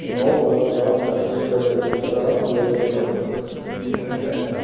но вот я вам как есть говорю про блогеров с бизнесами